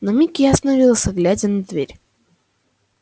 на миг я остановился глядя на дверь